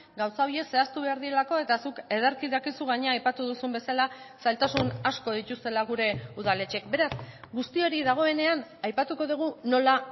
gauza horiek zehaztu behar direlako eta zuk ederki dakizu gainera aipatu duzun bezala zailtasun asko dituztela gure udaletxeek beraz guzti hori dagoenean aipatuko dugu nola